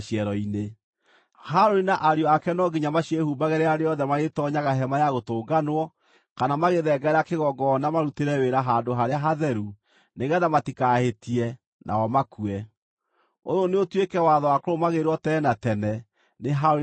Harũni na ariũ ake no nginya maciĩhumbage rĩrĩa rĩothe marĩtoonyaga Hema-ya-Gũtũnganwo kana magĩthengerera kĩgongona marutĩre wĩra Handũ-harĩa-Hatheru nĩgeetha matikahĩtie, nao makue. “Ũyũ nĩũtuĩke watho wa kũrũmagĩrĩrwo tene na tene nĩ Harũni na njiaro ciake.